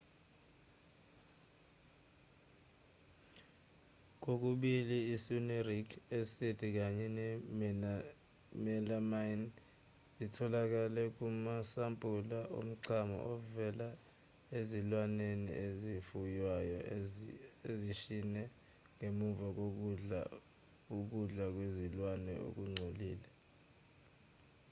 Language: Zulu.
kokubili i-cynuric acid kanye ne-melamine zitholakele kumasampula omchamo ovela ezilwaneni ezifuywayo ezishne ngemva kokudla ukudla kwezilwane okungcolile